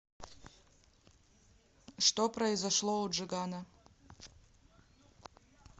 что произошло у джигана